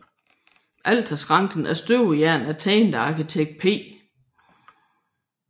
Alterskranken af støbejern er tegnet af arkitekt P